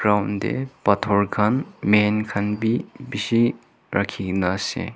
ground tae phator khan man khan bi bishi rakhikena ase.